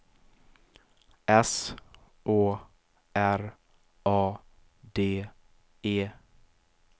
S Å R A D E